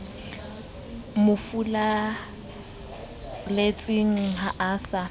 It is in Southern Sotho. mo furalletseng ha a sa